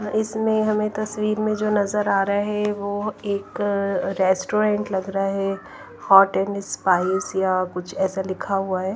इसमें हमें तस्वीर में जो नजर आ रहा है वह एक रेस्टोरेंट लग रहा है हॉट एंड स्पाइस या कुछ ऐसा लिखा हुआ है।